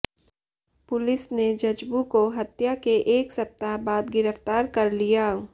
police ने जज्बू को हत्या के एक सप्ताह बाद गिरफ्तार कर लिया